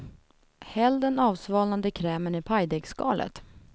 Häll den avsvalnade krämen i pajdegsskalet.